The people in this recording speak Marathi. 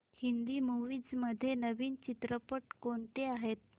हिंदी मूवीझ मध्ये नवीन चित्रपट कोणते आहेत